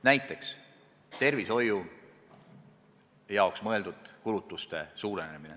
Näiteks tervishoiu jaoks mõeldud kulutuste suurenemine.